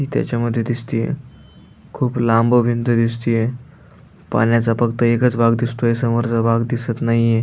ती त्याच्यामधी दिसतीय खूप लांब भिंत दिसतीय पाण्याचा फक्त एकच भाग दिसतोय समोरचा भाग दिसत नाहीये.